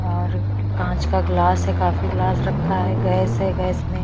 और कांच का ग्लास है काफी ग्लास रखा है गैस है गैस में--